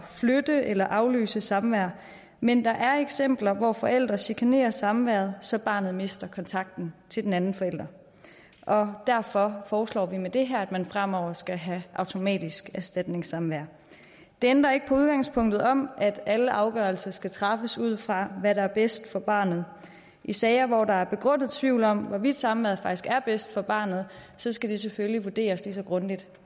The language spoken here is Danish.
flytte eller aflyse samvær men der er eksempler hvor forældre chikanerer samværet så barnet mister kontakten til den anden forælder og derfor foreslår vi med det her at man fremover skal have automatisk erstatningssamvær det ændrer ikke på udgangspunktet om at alle afgørelser skal træffes ud fra hvad der er bedst for barnet i sager hvor der er begrundet tvivl om hvorvidt samværet faktisk er bedst for barnet så skal det selvfølgelig vurderes lige så grundigt